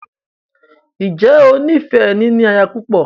Ǹjẹ́ o ní fẹ “ níní aya púpọ̀”?